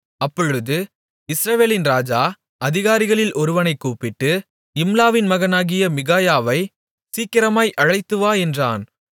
அப்பொழுது இஸ்ரவேலின் ராஜா அதிகாரிகளில் ஒருவனைக் கூப்பிட்டு இம்லாவின் மகனாகிய மிகாயாவைச் சீக்கிரமாய் அழைத்துவா என்றான்